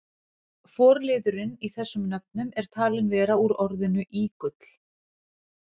forliðurinn í þessum nöfnum er talinn vera úr orðinu ígull